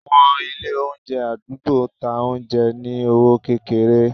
àwọn ilé oúnjẹ adugbo, ta oúnjẹ ní ọwọ kékeré.